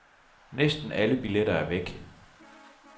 Næsten alle billetter er væk.